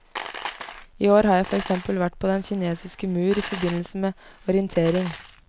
I år har jeg for eksempel vært på den kinesiske mur i forbindelse med orientering.